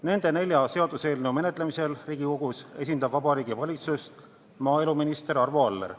Nende nelja seaduseelnõu menetlemisel Riigikogus esindab Vabariigi Valitsust maaeluminister Arvo Aller.